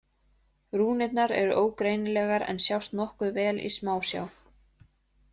Rúnirnar eru ógreinilegar en sjást nokkuð vel í smásjá.